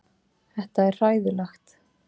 Þetta er hræðilegt